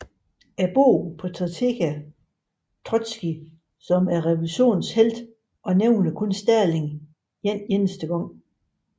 Bogen portræterer Trotskij som revolutionens helt og nævner kun Stalin en enkelt gang